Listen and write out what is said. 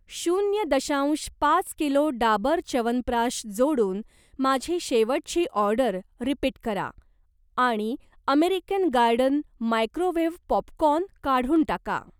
शून्य दशांश पाच किलो डाबर च्यवनप्रकाश जोडून माझी शेवटची ऑर्डर रिपीट करा आणि अमेरिकन गार्डन मायक्रोवेव्ह पॉपकॉर्न काढून टाका.